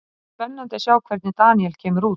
Það verður spennandi að sjá hvernig Daniel kemur út.